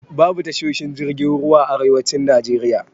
Babu tashoshin jirgin ruwa a arewacin Najeriya.